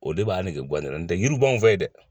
O de b'a nege bɔ ne la, nɔtɛ yiriw b'an fɛ ye dɛ.